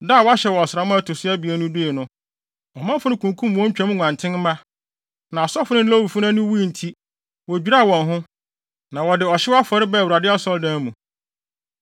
Da a wɔahyɛ wɔ ɔsram a ɛto so abien no dui no, ɔmanfo no kunkum wɔn Twam nguantenmma. Na asɔfo no ne Lewifo no ani wui nti, wodwiraa wɔn ho, na wɔde ɔhyew afɔre baa Awurade Asɔredan mu.